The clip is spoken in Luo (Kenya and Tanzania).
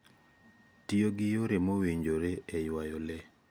Tiyo gi yore mowinjore e ywayo le